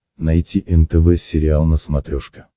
найти нтв сериал на смотрешке